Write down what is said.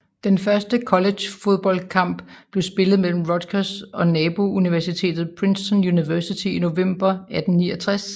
Den første college football kamp blev spillet mellem Rutgers og nabouniversitetet Princeton University i november 1869